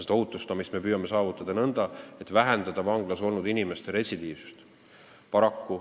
Seda me püüame saavutada nõnda, et vähendada vanglas olnud inimeste retsidiivsust.